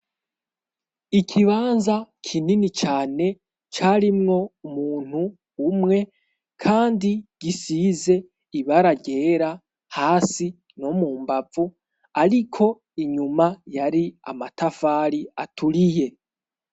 Ikibanza kinini cane carimwo umuntu umwe kandi gisize ibara ryera hasi no mu mbavu. Ariko inyuma yari amatafari aturiye.